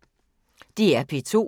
DR P2